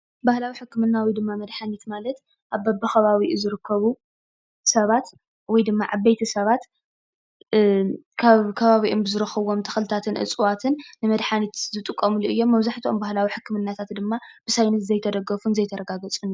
ባህላዊ ሕክምና ወይ መድሓኒት ማለት በብከባቢኡ ዝርከቡ ሰባት ወይ ድማ ዓበይቲ ሰባት ካብ ከባቢኦም ዝረኽብዎም ተኽልታትን እፅዋትን ንመድሓኒት ዝጥቀምሉ እዮም። መብዛሕትኡ ባህላዊ ሕክምናታት ድማ ብሳይንስ ዘይተደገፉን ዘይተረጋገፁን እዮም።